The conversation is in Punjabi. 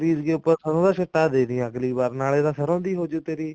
ਉੱਪਰ ਸਰੋਂ ਦਾ ਛਿੱਟਾ ਦੇਂਦੀ ਅਗਲੀ ਵਾਰੀ ਨਾਲੇ ਤਾਂ ਸਰੋਂ ਵੀ ਹੋਜੁ ਤੇਰੀ